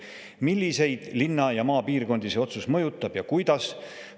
Milliseid linna‑ ja maapiirkondi see otsus mõjutab ja kuidas?